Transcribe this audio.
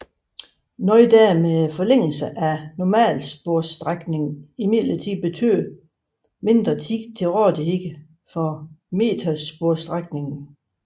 Noget der med forlængelserne af normalsporsstrækningen imidlertid betød mindre tid til rådighed for metersporsstrækningen